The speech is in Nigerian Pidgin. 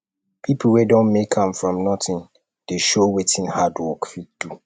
pipo wey don make am from nothing dey show wetin hard work fit do